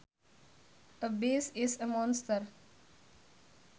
A beast is a monster